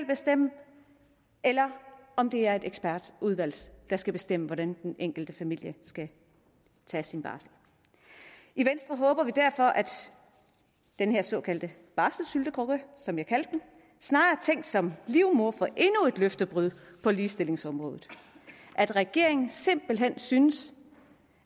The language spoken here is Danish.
bestemme eller om det er et ekspertudvalg der skal bestemme hvordan den enkelte familie skal tage sin barsel i venstre håber vi derfor at den her såkaldte barselssyltekrukke som jeg kaldte den snarere er tænkt som livmoder for endnu et løftebrud på ligestillingsområdet og at regeringen simpelt hen synes